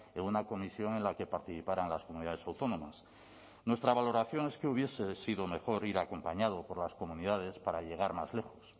en una comisión en la que participaran las comunidades autónomas nuestra valoración es que hubiese sido mejor ir acompañado por las comunidades para llegar más lejos